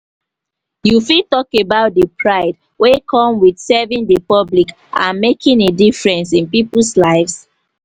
you fit talk about di pride wey come with serving di public and making a difference in people's lives?